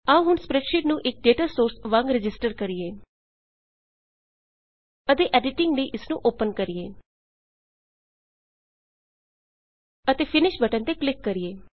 ਆਉ ਹੁਣ ਸਪ੍ਰੈਡਸ਼ੀਟ ਨੂੰ ਇੱਕ ਡੇਟਾਸੋਰਸ ਵਾਂਗ ਰਜਿਸਟਰ ਕਰੀਏ ਅਤੇ ਐਡੀਟਿੰਗ ਲਈ ਇਸਨੂੰ ਓਪਨ ਕਰੀਏ ਅਤੇ ਫਿਨਿਸ਼ ਫਿਨਿਸ਼ ਬਟਨ ਤੇ ਕਲਿੱਕ ਕਰੀਏ